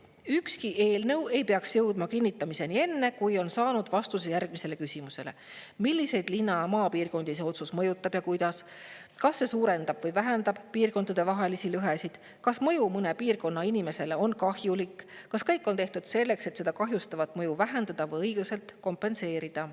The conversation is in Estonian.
Nimelt, ükski eelnõu ei peaks jõudma kinnitamiseni enne, kui on saanud vastuse järgmisele küsimusele: milliseid linna- ja maapiirkondi see otsus mõjutab ja kuidas, kas see suurendab või vähendab piirkondade vahelisi lõhesid, kas mõju mõne piirkonna inimesele on kahjulik, kas kõik on tehtud selleks, et seda kahjustavat mõju vähendada või õiglaselt kompenseerida.